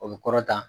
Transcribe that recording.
O bɛ kɔrɔtan